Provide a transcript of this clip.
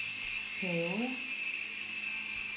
perioder